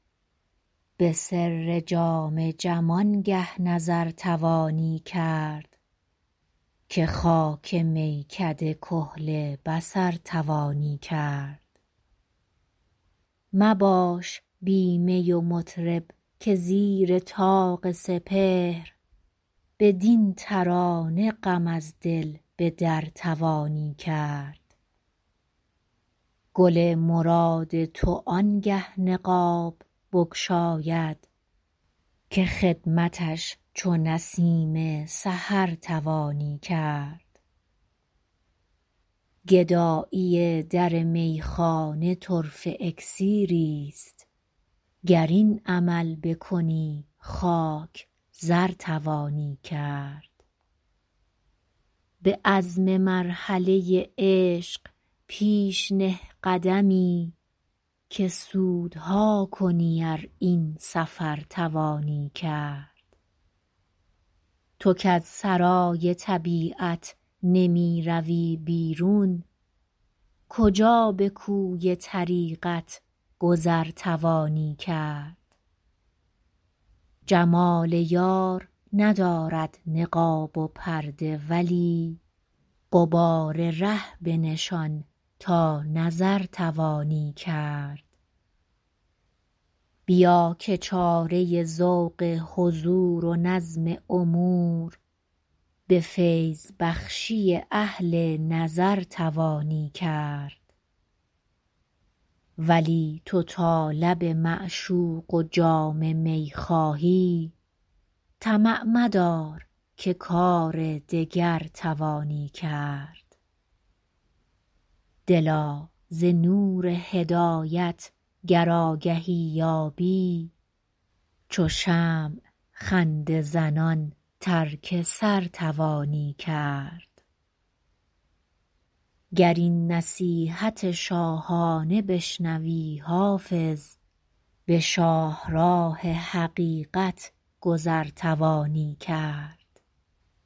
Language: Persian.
به سر جام جم آنگه نظر توانی کرد که خاک میکده کحل بصر توانی کرد مباش بی می و مطرب که زیر طاق سپهر بدین ترانه غم از دل به در توانی کرد گل مراد تو آنگه نقاب بگشاید که خدمتش چو نسیم سحر توانی کرد گدایی در میخانه طرفه اکسیریست گر این عمل بکنی خاک زر توانی کرد به عزم مرحله عشق پیش نه قدمی که سودها کنی ار این سفر توانی کرد تو کز سرای طبیعت نمی روی بیرون کجا به کوی طریقت گذر توانی کرد جمال یار ندارد نقاب و پرده ولی غبار ره بنشان تا نظر توانی کرد بیا که چاره ذوق حضور و نظم امور به فیض بخشی اهل نظر توانی کرد ولی تو تا لب معشوق و جام می خواهی طمع مدار که کار دگر توانی کرد دلا ز نور هدایت گر آگهی یابی چو شمع خنده زنان ترک سر توانی کرد گر این نصیحت شاهانه بشنوی حافظ به شاهراه حقیقت گذر توانی کرد